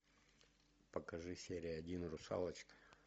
покажи серия один русалочка